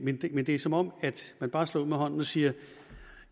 men det er som om man bare slår ud med hånden og siger